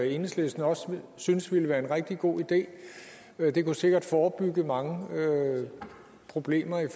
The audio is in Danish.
enhedslisten også synes ville være en rigtig god idé det kunne sikkert forebygge mange problemer i